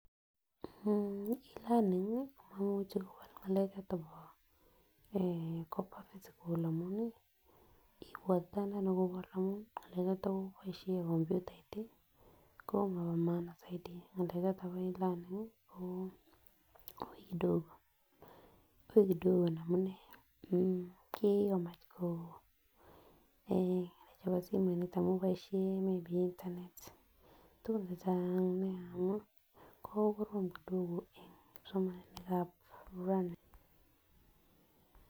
Aah e-learning kii komoimuche kowal ngalek choton bo eh koba physical amun nii ibwat anee ngalek choton kiboishen komputait tii komobo[] maana soiti ngalek choton bo e-learning ko ui kidogo, ui kidogo amunee mmh kikomach ko en chebo simoinik amun boishoni mii bik internet tukuk chechang nia ko korom kidogo en kipsomaninikab raini.